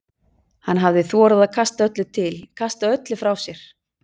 Hann hafði þorað að kosta öllu til, kasta öllu frá sér.